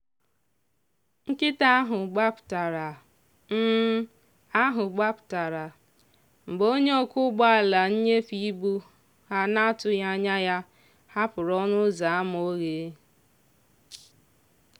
nkịta ahụ gbapụtara ahụ gbapụtara mgbe onye ọkwọ ụgbọala nnyefe ịbụ ha n'atụghị anya ya hapụrụ ọnụ ụzọ ámá oghe.